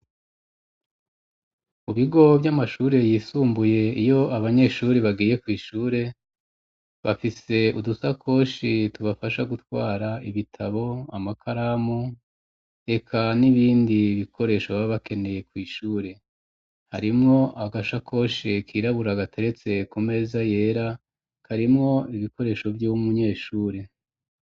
Ubigo vy' amashure yisumbuye iyo abanyeshuri bagiye kw'ishure bafise udusa koshi tubafasha gutwara ibitabo amakaramu eka n'ibindi bikoresho baa bakeneye kw'ishure harimwo agasha koshe kirabura gateretseko meza yera karimwo ibikoresho vy'umunyeshuri.